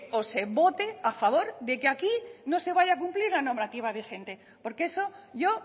o se vote a favor de que aquí no se vaya a cumplir la normativa vigente porque eso yo